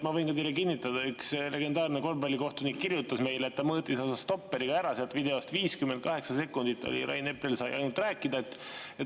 Ma võin teile kinnitada: üks legendaarne korvpallikohtunik kirjutas meile, et ta mõõtis oma stopperiga ära sealt videost – ainult 58 sekundit sai Rain Epler rääkida.